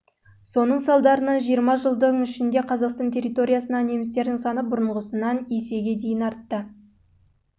соның салдарынан жиырма жылдың ішінде қазақстан территориясындағы немістердің саны бұрынғысынан есеге дейін артты